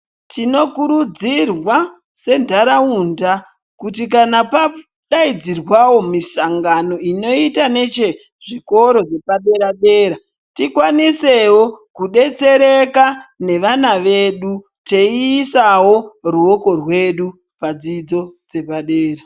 Tinokurudzirwa sentaraunda kuti kana padaidzirwawo misangano inoita nechezvikoro zvepadera-dera, tikwanisewo kudetsereka nevana vedu teiisawo ruoko rwedu padzidzo dzepadera.